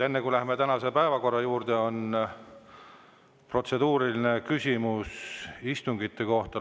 Enne kui läheme tänase päevakorra juurde, on protseduuriline küsimus istungite kohta.